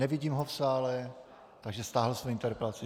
Nevidím ho v sále, takže stáhl svoji interpelaci.